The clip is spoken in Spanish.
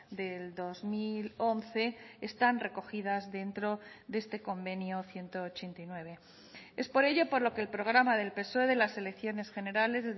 del dos mil once están recogidas dentro de este convenio ciento ochenta y nueve es por ello por lo que el programa del psoe de las elecciones generales